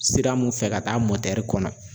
Sira mun fɛ ka taa motɛri kɔnɔ.